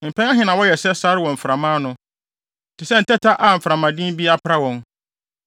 Mpɛn ahe na wɔyɛ sɛ sare wɔ mframa ano, te sɛ ntɛtɛ a mframaden bi apra wɔn?